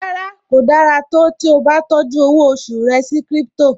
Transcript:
Rárá, kò dára tó tí ó bá tọ́jú owó oṣù rẹ sí crypto